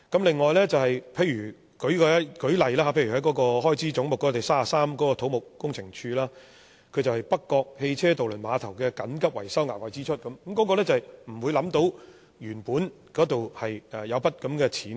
此外，舉例來說，就開支總目33土木工程拓展署而言，那是北角汽車渡輪碼頭的緊急維修額外支出，是原本想不到會有這筆開支的。